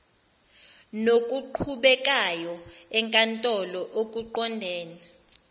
nokuqhubekayo enkantolo okuqondene